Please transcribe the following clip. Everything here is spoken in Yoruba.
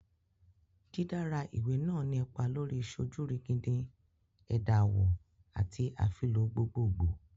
Didara iwe naa ni ipa lori sojurigindin, ẹda awọ, ati afilọ gbogbogbo